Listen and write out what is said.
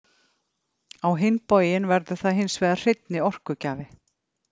Á hinn bóginn verður það hins vegar hreinni orkugjafi.